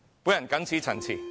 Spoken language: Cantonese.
我謹此陳辭。